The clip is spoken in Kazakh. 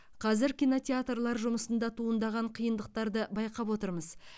қазір кинотеатрлар жұмысында туындаған қиындықтарды байқап отырмыз